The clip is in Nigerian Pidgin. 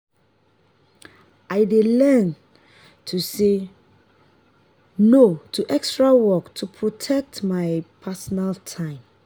i dey learn to say no to extra work to protect my personal time.